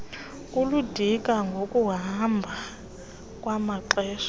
kuludinga ngokuhamba kwamaxesha